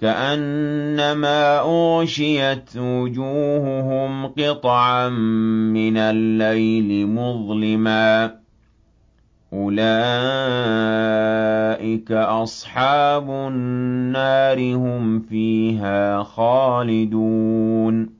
كَأَنَّمَا أُغْشِيَتْ وُجُوهُهُمْ قِطَعًا مِّنَ اللَّيْلِ مُظْلِمًا ۚ أُولَٰئِكَ أَصْحَابُ النَّارِ ۖ هُمْ فِيهَا خَالِدُونَ